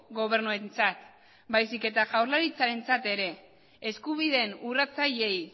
gobernuentzat baizik eta jaurlaritzarentzat ere eskubideen urratzaileei